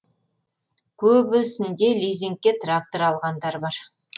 көбісінде лизингке трактор алғандар бар